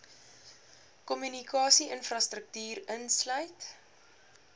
kommunikasie infrastruktuur insluit